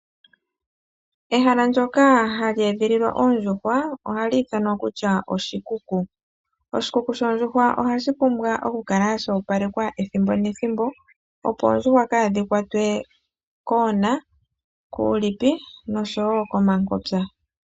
Ehala ndyoka hali edhililwa oondjuhwa ohashi ithanwa oshikuku. Ohashi pumbwa oku opalekwa kehe ethimbo, opo oondjuhwa kadhi kwatwe kuulipi, koona nokomangupa.